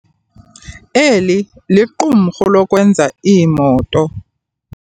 Eli liqumrhu lokwenza iimoto.